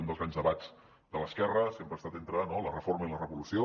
un dels grans debats de l’esquerra sempre ha estat entre no la reforma i la revolució